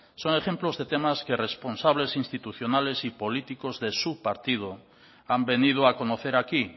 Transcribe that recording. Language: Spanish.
son ejemplos de temas que responsables institucionales y políticos de su partido han venido a conocer aquí